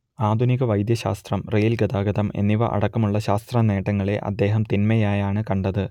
ആധുനിക വൈദ്യശാസ്ത്രം റെയിൽ ഗതാഗതം എന്നിവ അടക്കമുള്ള ശാസ്ത്രനേട്ടങ്ങളെ അദ്ദേഹം തിന്മയായാണ് കണ്ടത്